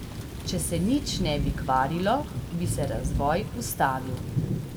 Če se nič ne bi kvarilo, bi se razvoj ustavil.